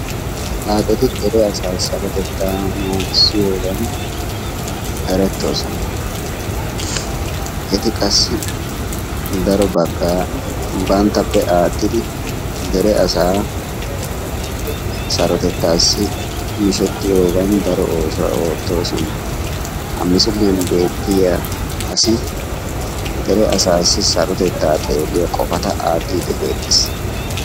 xaaccetti dere asaa sarottettaa naagisiyoogan erettoosona. Eti qassi daro baggaa banttappe aattidi dere asaa sarottettaassi miishettiyoogan daro oosuwaa oottoosona. Ha misiliyaan beettiyaa asi dere asaasi sarottettaa xeeliyaagan qofaa attiidi de'ees.